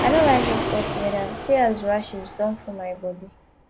i no like dis hot weather see as rashes don full my body